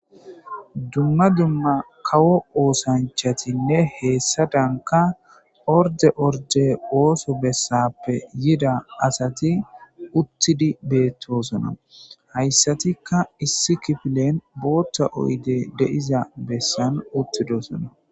Dumma dumma kawo oosanchatinne hessadankka ordde ordde ooso bessaappe yida asati uttidi beettoosona. Hayssatikka issi kifilen bootha oydey de7iza bessan uttidosona.